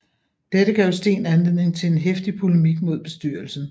Dette gav Steen anledning til en heftig polemik mod bestyrelsen